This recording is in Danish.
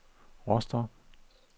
Rostock